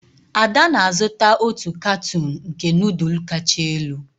Ada na-azụta otu katuun nke nudulu kacha elu.